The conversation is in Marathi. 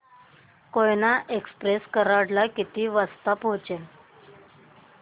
कोयना एक्सप्रेस कराड ला किती वाजता पोहचेल